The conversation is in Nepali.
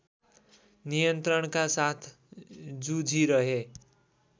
नियन्त्रणका साथ जुझिरहे